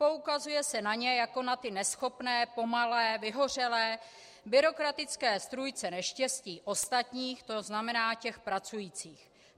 Poukazuje se na ně jako na ty neschopné, pomalé, vyhořelé, byrokratické strůjce neštěstí ostatních, to znamená těch pracujících.